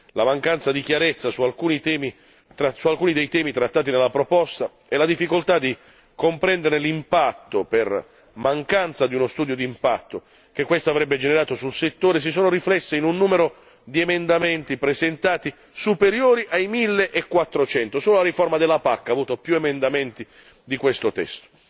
La mancanza di chiarezza su alcuni dei temi trattati nella proposta e la difficoltà di comprendere l'impatto per mancanza di uno studio di impatto, che questa avrebbe generato sul settore, si sono riflesse in un numero di emendamenti presentati, superiori ai 1400, solo la riforma della PAC ha avuto più emendamenti di questo testo.